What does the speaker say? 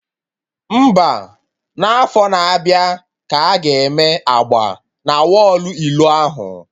Mba, n'afọ na-abịa ka aga eme agba na wọlụ ilo ahụ